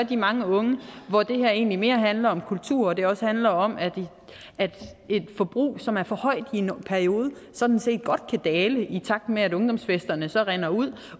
de mange unge hvor det her egentlig mere handler om kultur og det også handler om at et forbrug som er for højt i en periode sådan set godt kan dale i takt med at ungdomsfesterne så rinder ud